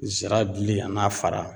Zira dili a n'a fara